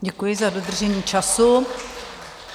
Děkuji za dodržení času.